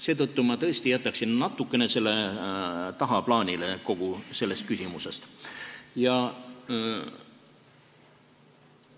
Seetõttu ma tõesti jätaksin selle kogu selles küsimuses natuke tagaplaanile.